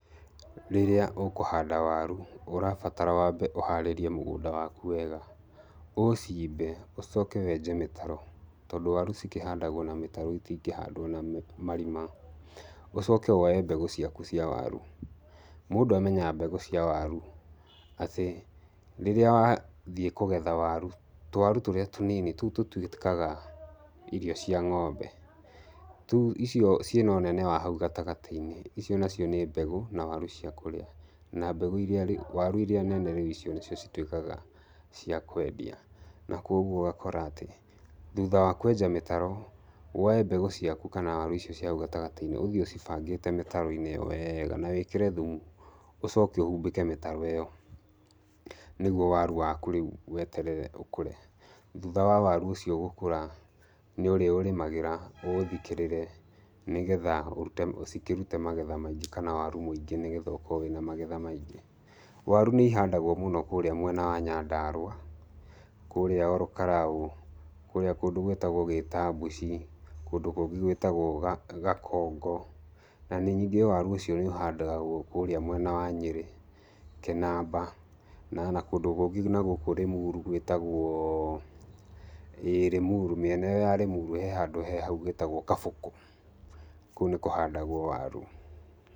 Rĩrĩa ũkũhanda waru, ũrabatara wambe ũharĩrie mũgũnda waku wega. Ũũcimbe, ũcoke wenje mĩtaro. Tondũ wari cikĩhandagwo na mĩtaro citingĩhandwo na marima. Ũcoke woye mbegũ ciaku cia waru. Mũndũ amenyaga mbegũ cia waru, atĩ, rĩrĩa wathiĩ kũgetha waru, tũwaru tũrĩa tũnini, tũu tũtuĩkaga irio cia ng'ombe. Tũu, icio ciĩna ũnene wa hau gatagatĩ-inĩ, icio nacio nĩ mbegũ, na waru cia kũrĩa. Na mbegũ irĩa waru irĩa nene rĩu icio nĩcio cituĩkaga cia kwendia. Na kũguo ũgakora atĩ, thutha wa kwenja mĩtaro, woe mbegũ ciaku kana waru icio ciĩ hau gatagatĩ-inĩ, ũthiĩ ũcibangĩte mĩtaro-inĩ ĩyo wega. Na wĩkĩre thumu, ũcoke ũhumbĩke mĩtaro ĩyo nĩguo waru waku rĩu weterere ũkũre. Thutha wa waru ũcio gũkũra, nĩ ũrĩũrĩmagĩra, ũũthikĩrĩre, nĩgetha ũrute cikĩrute magetha maingĩ kana waru mũingĩ nĩgetha ũkorwo wĩna magetha maingĩ. Waru nĩ ihandagwo mũno kũrĩa mwena wa Nyandarua, kũũrĩa Ol Karau, kũũrĩa kũndũ gwĩtagwo Gitambuci. Kũndũ kũngĩ gwĩtagwo Gakongo. Na nyingĩ waru ũcio nĩ ũhandagwo kũũrĩa mwena wa Nyeri, Kinamba, na kũndũ kũngĩ nagũkũ Limuru gwĩtagwo, ĩĩ Limuru mĩena ĩyo ya Limuru he handũ he hau hetagwo Kabũku. Kũu nĩ kũhandagwo waru.